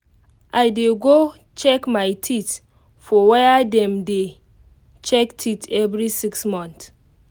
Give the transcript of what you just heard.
i dey go check my teeth for where dem dey check teeth every 6 month